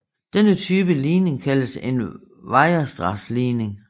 Denne type ligning kaldes en Weierstrass ligning